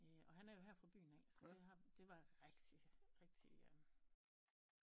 Og han er jo her fra byen af så det var rigtig rigtig